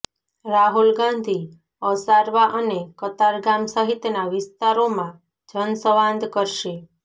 રાહુલ ગાંધી અસારવા અને કતારગામ સહિતના વિસ્તારોમાં જનસંવાદ કરશે